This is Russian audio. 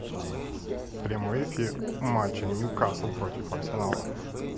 прямой эфир матча ньюкасл против арсенала